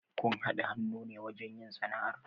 Kun haɗa hannu ne wajen yin sana'ar?